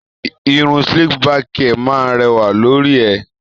Irun slick back hair máa ń rẹwà lórí ẹ.